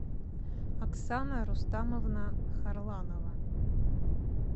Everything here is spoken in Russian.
оксана рустамовна харланова